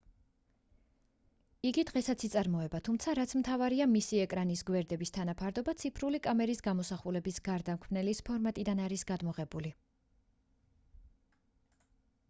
იგი დღესაც იწარმოება თუმცა რაც მთავარია მისი ეკრანის გვერდების თანაფარდობა ციფრული კამერის გამოსახულების გარდამქმნელის ფორმატიდან არის გადმოღებული